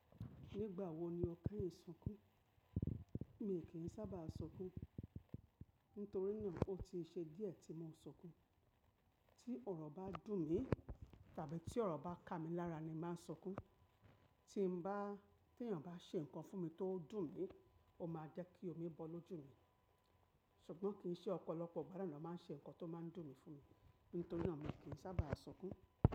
Nígbà wo ni ọkàn yìí sunkún? Mi kí n sábà sunkún, nítorí náà ó ti ṣe díẹ̀ tí mo ń sunkún. Tí ọ̀rọ̀ bá dùn mí, tàbí tí ọ̀rọ̀ bá ká mi lára ni màá sunkún. Tí n bá-- tí ènìyàn bá ṣe nǹkan fún mi tó dùn mí, ó máa jẹ́ kí omi bọ́ lójú mi. Ṣùgbọ́n kì í ṣe ọ̀pọ̀lọpọ̀ ìgbà lánàá máa ń ṣe nǹkan tó máa ń dùn mí fún mi. Nítorí náà mi kí n sábà sunkún.